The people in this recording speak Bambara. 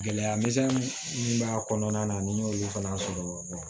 Gɛlɛya misɛnnin minnu b'a kɔnɔna na ni y'olu fana sɔrɔ